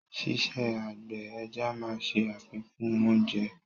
Ṣíṣe àgbẹ̀ ẹja máa ṣe àfikún oúnjẹ.